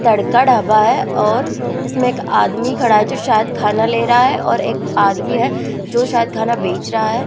तड़का ढाबा है और इसमें एक आदमी खड़ा है जो शायद खाना ले रहा है और एक आदमी है जो शायद खाना बेच रहा है।